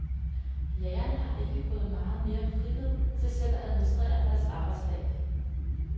Lærerne har ikke fået meget mere frihed til selv at administrere deres arbejdsdag.